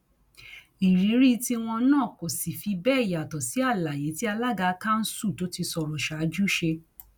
ìrírí tiwọn náà kò sì fi bẹẹ yàtọ sí àlàyé tí alága kanṣu tó ti sọrọ ṣáájú ṣe